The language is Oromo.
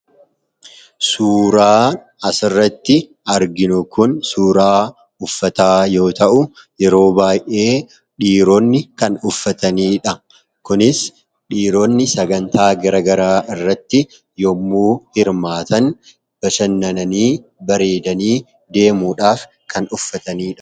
suuraa asirratti arginu kun suuraa uffataa yoo ta'u yeroo baa'ee dhiiroonni kan uffataniidha kunis dhiiroonni sagantaa garagaraa irratti yommuu hirmaatan bashannananii bareedanii deemuudhaaf kan uffataniiha